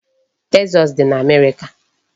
Texas dị n'Amerịka.